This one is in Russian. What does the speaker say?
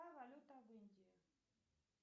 какая валюта в индии